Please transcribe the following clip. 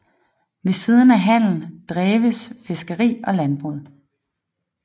Ved siden af handel dreves fiskeri og landbrug